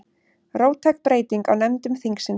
Róttæk breyting á nefndum þingsins